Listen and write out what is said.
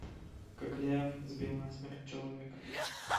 кокляев сбил насмерть человека